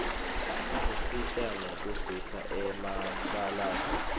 isisita ngekusipha emabalave